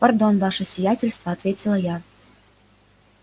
пардон ваше сиятельство ответила я